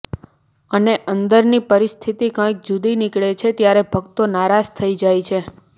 અને અંદરની પરિસ્થિતિ કંઈક જૂદી નીકળે છે ત્યારે ભક્તો નારાજ થઈ જાય છે